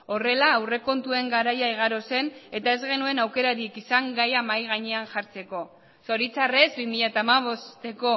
horrela aurrekontuen garaia igaro zen eta ez genuen aukerarik izan gaia mahai gainean jartzeko zoritxarrez bi mila hamabosteko